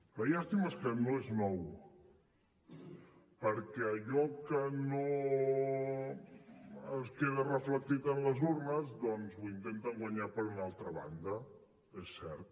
la llàstima és que no és nou perquè allò que no es queda reflectit en les urnes doncs ho intenten guanyar per una altra banda és cert